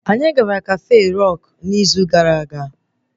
Anyị gara Rọk kafe n'izu gara aga